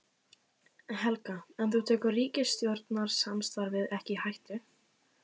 Helga: En þú tekur ríkisstjórnarsamstarfið ekki í hættu?